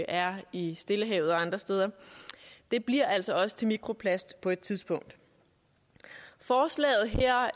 er i stillehavet og andre steder bliver altså også til mikroplast på et tidspunkt forslaget her